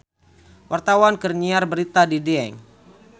Wartawan keur nyiar berita di Dieng